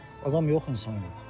Adam yoxdur, insan yoxdur.